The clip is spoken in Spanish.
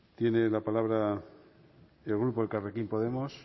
tiene la palabra el grupo elkarrekin podemos